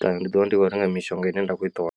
kana ndi ḓiwana ndi khou renga mishonga ine nda kho i ṱoḓa.